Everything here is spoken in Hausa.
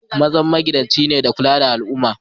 Mazan magidanci ne ka kulla da tsaron al'umman.